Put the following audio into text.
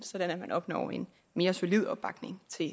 sådan at man opnår en mere solid opbakning til